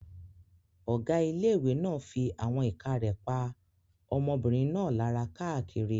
Ọ̀gá ilé-ìwé náà fí àwọn ìka rẹ̀ pa ọmọbìnrin náà lára káàkiri